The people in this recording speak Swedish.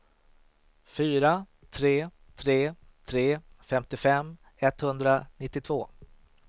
fyra tre tre tre femtiofem etthundranittiotvå